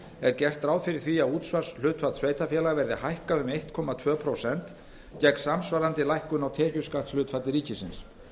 er gert ráð fyrir því að útsvarshlutfall sveitarfélaga verði hækkað um einn komma tvö prósent gegn samsvarandi lækkun á tekjuskattshlutfalli ríkisins